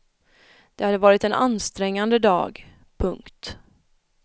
Det hade varit en ansträngande dag. punkt